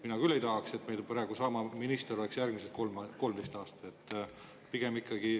Mina küll ei tahaks, et meil järgmised 13 aastat sama minister oleks.